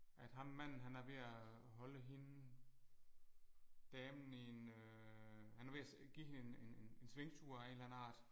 At ham manden han er ved at holde hende damen i en øh han er ved at give hende en en en en svingtur af en eller anden art